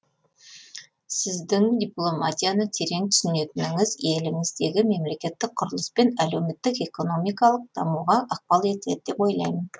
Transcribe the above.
сіздің дипломатияны терең түсінетініңіз еліңіздегі мемлекеттік құрылыс пен әлеуметтік экономикалық дамуға ықпал етеді деп ойлаймын